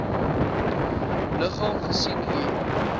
liggaam gesien hier